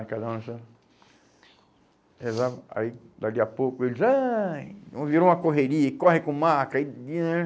E cada um assim, rezava. Aí, dali a pouco, eles... Ai. hum, virou uma correria, corre com o maca. E aí